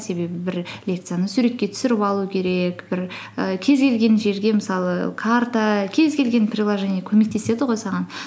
себебі бір лекцияны суретке түсіріп алу керек бір і кез келген жерге мысалы карта кез келген приложение көмектеседі ғой саған